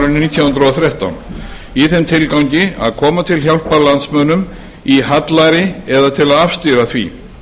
hundruð og þrettán í þeim tilgangi að koma til hjálpar landsmönnum í hallæri eða til að afstýra því